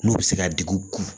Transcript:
N'u bɛ se ka dugu